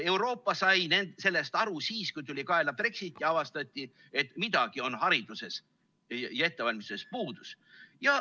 Euroopa sai sellest aru siis, kui tuli kaela Brexit ja avastati, et midagi on hariduses ja ettevalmistuses puudu.